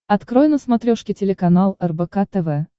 открой на смотрешке телеканал рбк тв